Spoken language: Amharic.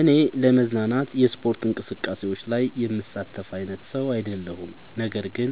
እኔ ለመዝናናት የስፖርት እንቅስቃሴዎች ላይ የምሳተፍ አይነት ሰው አይደለሁም ነገር ግን